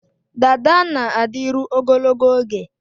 Dada na-adịru ogologo oge